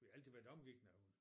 Vi har altid været omgik med hund